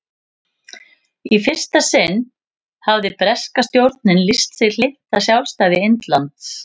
í fyrsta sinn hafði breska stjórnin lýst sig hlynnta sjálfstæði indlands